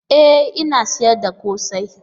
E! Ina sayar da kose.